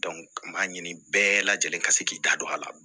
n b'a ɲini bɛɛ lajɛlen ka se k'i da don a la